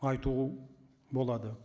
айту болады